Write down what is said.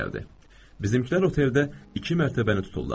Bizimkilər oteldə iki mərtəbəni tutdular.